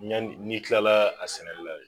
Yanni n'i kilala a sɛnɛli la de